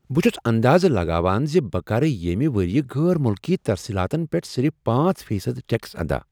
بہٕ چھٗس اندازٕ لگاوان زِ بہٕ کرٕ ییمہِ ورۍیہِ غیر مٗلکی ترسیلاتن پیٹھ صرف پانژھ فی صد ٹیکس ادا